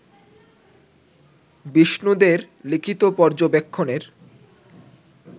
বিষ্ণু দে-র লিখিত পর্যবেক্ষণের